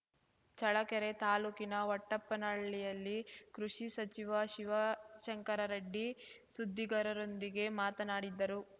ಚಳ್ಳಕೆರೆ ತಾಲೂಕಿನ ಹೊಟ್ಟೆಪ್ಪನಹಳ್ಳಿಯಲ್ಲಿ ಕೃಷಿ ಸಚಿವ ಶಿವಶಂಕರರೆಡ್ಡಿ ಸುದ್ದಿಗರರೊಂದಿಗೆ ಮಾತನಾಡಿದರು